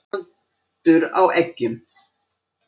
Tjaldur á eggjum.